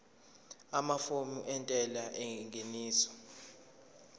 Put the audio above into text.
amafomu entela yengeniso